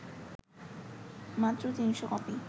মাত্র ৩০০ কপি